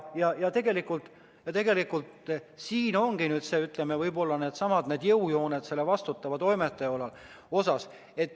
Tegelikult siin ongi, ütleme, võib-olla needsamad jõujooned selle vastutava toimetaja osas.